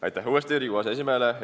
Aitäh uuesti Riigikogu aseesimehele!